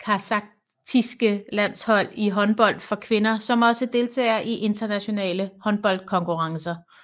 kasakhiske landshold i håndbold for kvinder som også deltager i internationale håndboldkonkurrencer